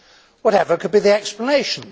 Whatever could be the explanation?